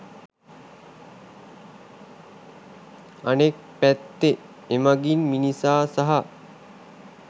අනෙක් පැත්තෙන් එමගින් මිනිසා සහ